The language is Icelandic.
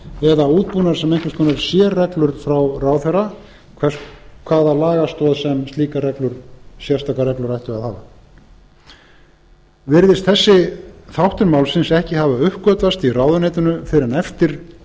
eða útbúnað sem einhvers konar sérreglur frá ráðherra hvaða lagastoð sem slíkar sérstakar reglur ættu að hafa virðist þessi þáttur málsins ekki hafa uppgötvast í ráðuneytinu fyrr en eftir að